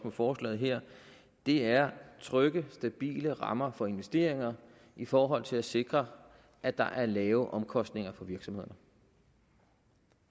i forslaget her er trygge stabile rammer for investeringer i forhold til at sikre at der er lave omkostninger for virksomhederne